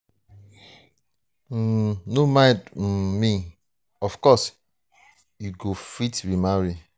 um no mind um me oo of course you go fit remarry.